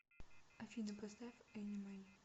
афина поставь энимэй